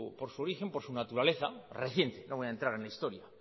por su origen por su naturaleza reciente no voy a entrar en la historia